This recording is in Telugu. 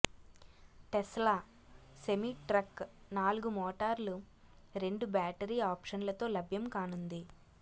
టెస్లా సెమీ ట్రక్ నాలుగు మోటార్లు రెండు బ్యాటరీ ఆప్షన్లతో లభ్యం కానుంది